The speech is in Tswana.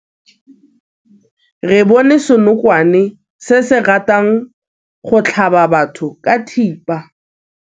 Re bone senokwane se se ratang go tlhaba batho ka thipa.